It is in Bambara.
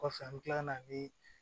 Kɔfɛ an bɛ tila ka na nii